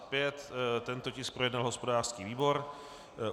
Tento tisk projednal hospodářský výbor.